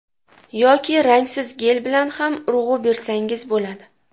Yoki rangsiz gel bilan ham urg‘u bersangiz bo‘ladi.